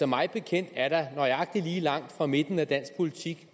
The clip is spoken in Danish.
mig bekendt er der nøjagtig lige så langt fra midten af dansk politik